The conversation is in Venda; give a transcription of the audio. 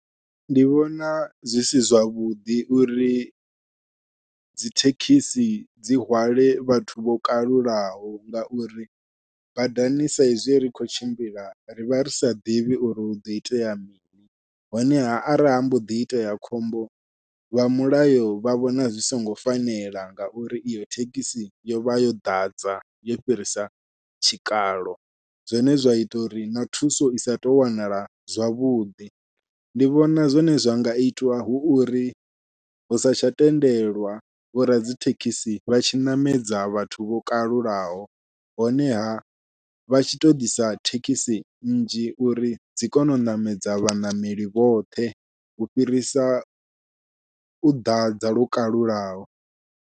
Ndi vhona zwi si zwavhuḓi uri dzithekhisi dzi hwale vhathu vho kalulaho, ngauri badani saizwi ri kho tshimbila ri vha ri sa ḓivhi uri huḓo itea mini, honeha arali ha mboḓi itea khombo vha mulayo vha vhona zwi songo fanela ngauri iyo thekhisi yovha yo ḓadza yo fhirisa tshikalo, zwine zwa ita uri na thuso i sa tou wanala zwavhuḓi. Ndi vhona zwone zwa nga itwa hu uri hu sa tsha tendelwa vho radzithekhisi vha tshi ṋamedza vhathu vho kalulaho honeha vha tshi to ḓisa thekhisi nnzhi uri dzi kone u ṋamedza vhaṋameli vhoṱhe u fhirisa u ḓadza lwo kalulaho.